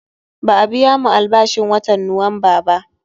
Ba'a biyamu albashin watan Nuwamba ba